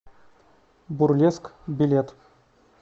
бурлеск билет